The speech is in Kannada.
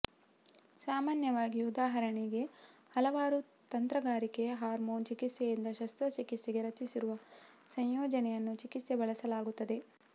ಸಾಮಾನ್ಯವಾಗಿ ಉದಾಹರಣೆಗೆ ಹಲವಾರು ತಂತ್ರಗಾರಿಕೆ ಹಾರ್ಮೋನ್ ಚಿಕಿತ್ಸೆಯಿಂದ ಶಸ್ತ್ರಚಿಕಿತ್ಸೆಗೆ ರಚಿಸಿರುವ ಸಂಯೋಜನೆಯನ್ನು ಚಿಕಿತ್ಸೆ ಬಳಸಲಾಗುತ್ತದೆ